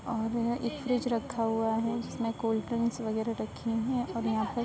ओर एक फ्रिज रखा हुआ है जिसमे कोल्डरिंगस बगेरा रखी हुई हैं और यहाँ पे --